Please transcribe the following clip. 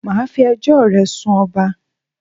Mà a fi ẹjọ́ ò re sun ọba